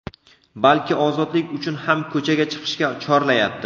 balki ozodlik uchun ham ko‘chaga chiqishga chorlayapti.